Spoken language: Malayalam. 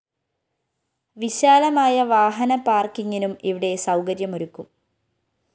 വിശാലമായ വാഹന പാര്‍ക്കിങ്ങിനും ഇവിടെ സൗകര്യമൊരുക്കും